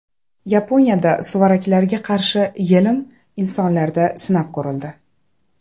Yaponiyada suvaraklarga qarshi yelim insonlarda sinab ko‘rildi .